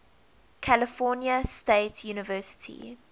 california state university